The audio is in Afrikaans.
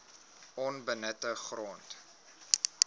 onbenutte grond